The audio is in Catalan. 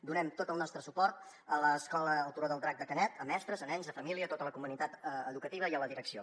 donem tot el nostre suport a l’escola el turó del drac de canet a mestres a nens a família a tota la comunitat educativa i a la direcció